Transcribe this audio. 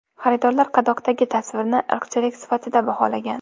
Xaridorlar qadoqdagi tasvirni irqchilik sifatida baholagan.